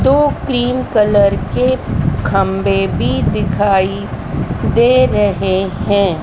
दो cream colour के खंभे भी दिखाई दे रहे हैं।